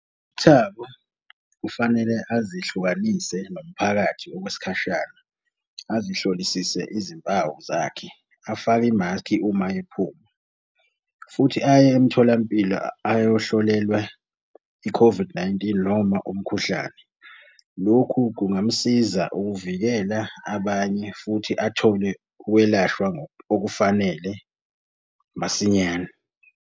UThabo kufanele azehlukanise nomphakathi okwesikhashana. Azihlolisise izimpawu zakhe, afake imaskhi uma ephuma, futhi aye emtholampilo ayohlolelwa i-COVID-19, noma umkhuhlane. Lokhu kungamsiza ukuvikela abanye futhi athole ukwelashwa okufanele masinyane.